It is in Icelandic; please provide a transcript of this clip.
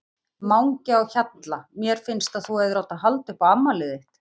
Mangi á Hjalla Mér finnst að þú hefðir átt að halda upp á afmælið þitt.